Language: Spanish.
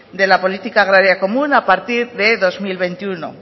de la política agraria común a partir de dos mil veintiuno